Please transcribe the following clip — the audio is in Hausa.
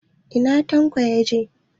Ina Tanko yaje?